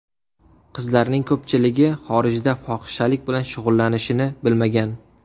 Qizlarning ko‘pchiligi xorijda fohishalik bilan shug‘ullanishini bilmagan.